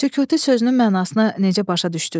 Sükutu sözünün mənasını necə başa düşdüz?